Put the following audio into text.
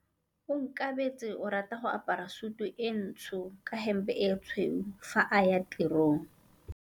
Onkabetse o rata go apara sutu e ntsho ka hempe e tshweu fa a ya tirong.